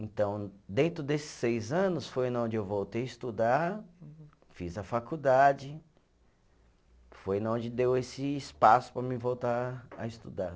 Então, dentro desses seis anos, foi na onde eu voltei a estudar, fiz a faculdade, foi na onde deu esse espaço para mim voltar a estudar.